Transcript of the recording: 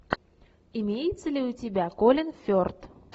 имеется ли у тебя колин ферт